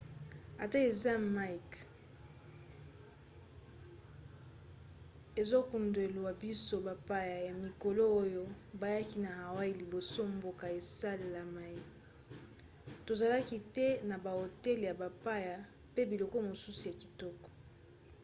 ata eza mike ezokundwela biso bapaya ya mikolo oyo bayaki na hawaii liboso mboka esalaema tozalaki te na bahotel ya bapaya pe biloko mosusu ya kitoko